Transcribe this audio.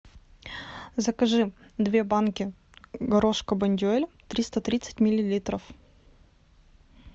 закажи две банки горошка бондюэль триста тридцать миллилитров